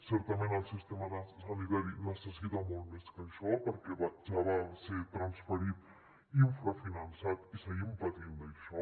certament el sistema sanitari necessita molt més que això perquè ja va ser transferit infrafinançat i seguim patint això